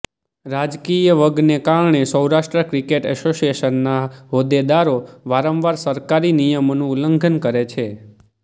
રાજકીય વગને કારણે સૌરાષ્ટ્ર ક્રિકેટ એસોશીએશનના હોદેદારો વારંવાર સરકારી નીયમોનું ઉલ્લંઘન કરે છે